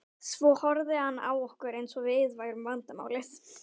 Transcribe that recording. Svo horfði hann á okkur eins og við værum vandamálið.